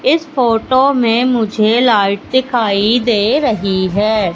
इस फोटो में मुझे लाइट दिखाई दे रहीं हैं।